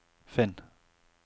finn